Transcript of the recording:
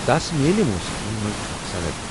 تس میلہ موٗسیٖقی منز اکھ صند ۔